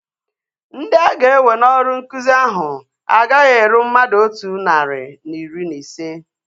Ndị aga-ewe n'ọrụ nkụzi ahu agaghị eru mmadụ otu narị na iri na ise